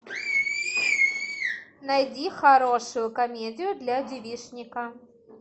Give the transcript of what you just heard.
найди хорошую комедию для девичника